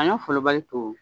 Sanɲɔ folobali to